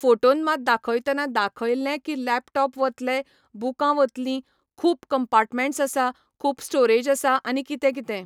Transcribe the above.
Photon मात दाखयतना दाखयल्लें की लॅपटॉप वतले, बुकां वतलीं, खूब कम्पाटमँट्स आसा, खूप स्टोरेज आसा आनी कितें कितें.